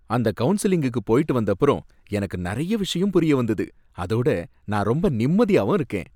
அந்த கவுன்சலிங்குக்கு போயிட்டுவந்தப்பறம் எனக்கு நறைய விஷயம் புரியவந்தது அதோட நான் ரொம்ப நிம்மதியாவும் இருக்கேன்.